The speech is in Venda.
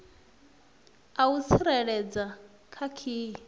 a u tsireledza kha khiyi